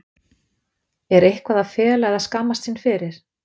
Er eitthvað að fela eða skammast sín fyrir?